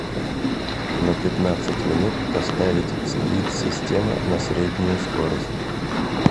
на пятнадцать минут поставить сплит система на среднюю скорость